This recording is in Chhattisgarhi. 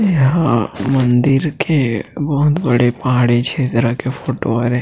इंहा मंदिर के बहुत बड़े पहाड़ी छेत्र के फोटो हरे।